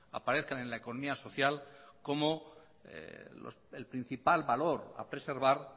aparezcan en la economía social como el principal valor a preservar